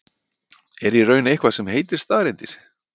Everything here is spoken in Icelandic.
Er í raun eitthvað til sem heitir staðreyndir?